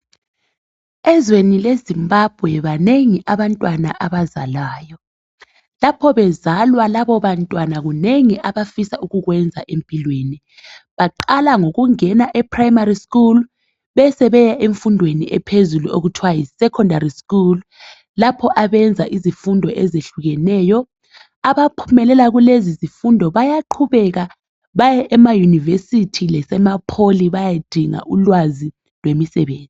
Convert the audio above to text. ezweni le Zimbabwe banengi abantwana abazalwayo lapho bezalwa labo bantwana kunengi abafisa ukukwenza empilweni baqala ngokungena e primary school besebeya emfundweni ephezulu okuthiwa yi secondary school lapho abenza izifundo ezihlukeneyo abaphumelela kulezi zifundo bayaqhubeka baye ema university lase mapoly baye dinga ulwazi lwemisebenzi